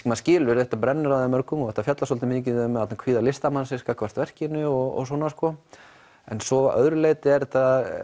maður skilur þetta brennur á þeim mörgum og þetta fjallar svolítið mikið um kvíða listamannsins gagnvart verkinu og svona en svo að öðru leyti er þetta